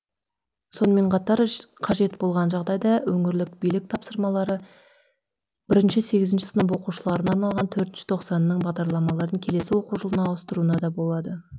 сонымен қатар қажет болған жағдайда өңірлік билік тапсырмалары бірінші сегізінші сынып оқушыларына арналған төртінші тоқсанның бағдарламарын келесі оқу жылына ауыстыруына да болады